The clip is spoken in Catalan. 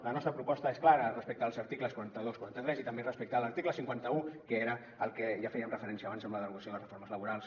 la nostra proposta és clara respecte als articles quaranta dos quaranta tres i també respecte a l’article cinquanta un que era al que ja fèiem referència abans amb la derogació de les reformes laborals